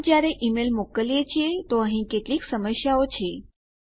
પણ જયારે ઈમેલ મોકલીએ છીએ તો અહીં કેટલીક સમસ્યાઓ છે